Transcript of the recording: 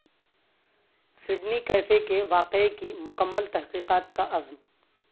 Sydney cafe کے واقعے کی مکمل تحقیقات کا عزم